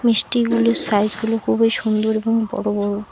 মিষ্টিগুলির সাইজগুলো খুবই সুন্দর এবং বড় বড়।